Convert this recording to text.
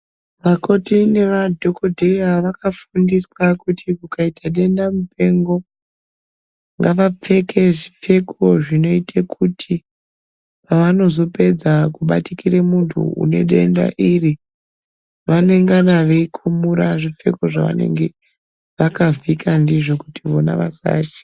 Vakoti neva dhokodheya vaka fundiswa kuti kukaita denda mupengo ngava pfeke zvipfeko zvinoite kuti pa anozo pedza ku batikira muntu une denda iri vanengana vei kumura zvipfeko zva vanenge vaka vhika ndizvo kuti vona vasa chi.